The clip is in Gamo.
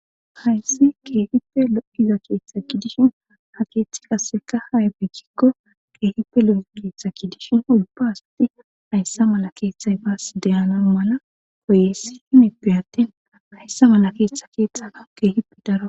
hayssi kirihippe lo7iza keeththa kidishin ha keeththi kasseka hayabekkikko geehippe lo7iza keeththa kidishin ulba hasti ayssa mala keeththay baas deyana mala koye sifimippe attin ayssa mala keeththa keettana geehipe daro